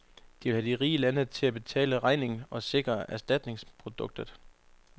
De vil have de rige lande til at betale regningen og sikre erstatningsproduktion.